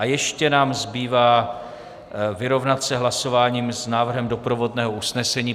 A ještě nám zbývá vyrovnat se hlasováním s návrhem doprovodného usnesení.